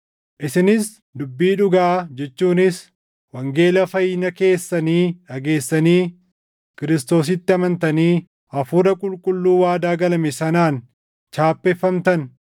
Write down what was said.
Isinis dubbii dhugaa jechuunis wangeela fayyina keessanii dhageessanii Kiristoositti amantanii, Hafuura Qulqulluu waadaa galame sanaan chaappeffamtan;